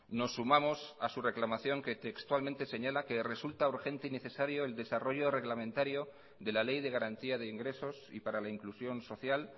nos sumamos a su reclamación que textualmente señala que resulta urgente y necesario el desarrollo reglamentario de la ley de garantía de ingresos y para la inclusión social